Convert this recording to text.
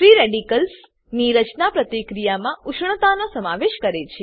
free radicals ની રચના પ્રતિક્રિયામાં ઉષ્ણતાનો સમાવેશ કરે છે